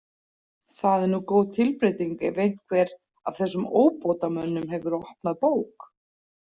Það er nú góð tilbreyting ef einhver af þessum óbótamönnum hefur opnað bók.